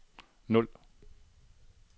nul